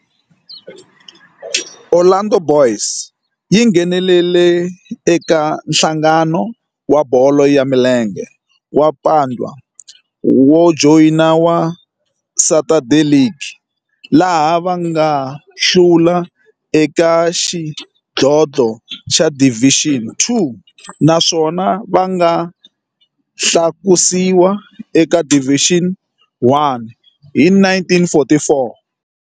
Orlando Boys yi nghenelerile eka Nhlangano wa Bolo ya Milenge wa Bantu wa Joni wa Saturday League, laha va nga hlula eka xidlodlo xa Division Two naswona va nga tlakusiwa eka Division One hi 1944.